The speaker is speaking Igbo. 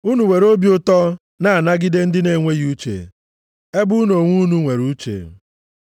Unu were obi ụtọ na-anagide ndị na-enweghị uche, ebe unu onwe unu nwere uche.